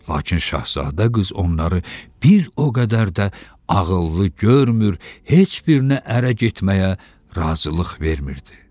Lakin şahzadə qız onları bir o qədər də ağıllı görmür, heç birinə ərə getməyə razılıq vermirdi.